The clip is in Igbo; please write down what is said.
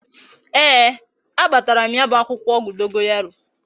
Ee, a kpatara m ya bu akwukwo ogwu dogoyaro